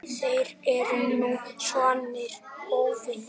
Þeir eru nú svarnir óvinir.